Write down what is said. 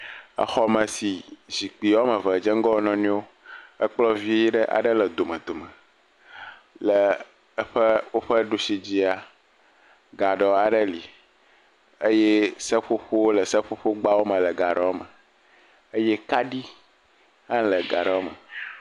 Exɔme si zikpi wo am eve dze ŋgɔ wo nɔnɔewo. Ekplɔ̃ vii ɖe aɖe le domedome. Le eƒe woƒe dushi dzia, gaɖɔ aɖe li eye seƒoƒowo le seƒoƒogbawo me le gaɖɔwo me eye kaɖi le gaɖɔwo me.